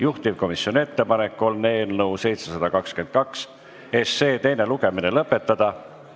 Juhtivkomisjoni ettepanek on eelnõu 722 teine lugemine lõpetada.